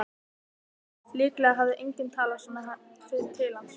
Líklega hafði enginn talað svona til hans fyrr.